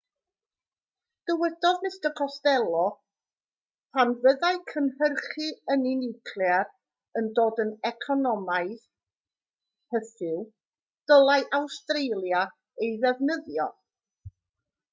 dywedodd mr costello pan fyddai cynhyrchu ynni niwclear yn dod yn economaidd hyfyw dylai awstralia ei ddefnyddio